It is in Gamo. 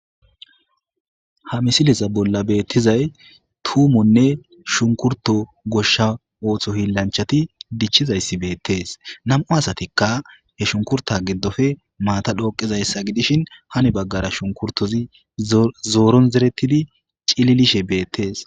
Ha misilisa bolla beettizay tuumonne shunkurto goshsha ooththo hiillanchati dichchizayssi beettees nam'u asatikka he shunkurta giddofe maata dhooqizayssa gidishin hani baggara shunkurtozi zooron zeretidi cililishe beettees.